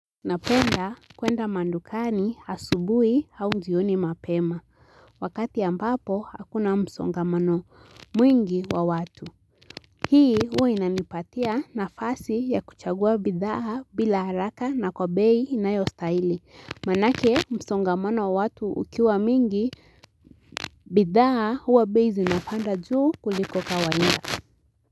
Napenda kwenda madukani asubuhi au jioni mapema wakati ambapo hakuna msongamano mwingi wa watu. Hii huwa inanipatia nafasi ya kuchagua bidhaa bila haraka na kwa bei inayostahilj manake msongamano wa watu ukiwa mingi bidhaa huwa bei zinapanda juu kuliko kawaida. Kwa hivyo.